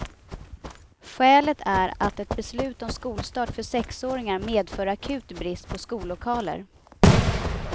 Skälet är att ett beslut om skolstart för sexåringar medför akut brist på skollokaler.